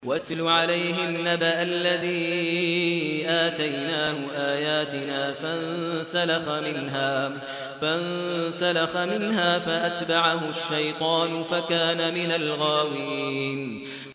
وَاتْلُ عَلَيْهِمْ نَبَأَ الَّذِي آتَيْنَاهُ آيَاتِنَا فَانسَلَخَ مِنْهَا فَأَتْبَعَهُ الشَّيْطَانُ فَكَانَ مِنَ الْغَاوِينَ